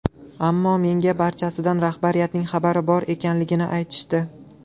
Ammo menga barchasidan rahbariyatning xabari bor ekanligini aytishdi.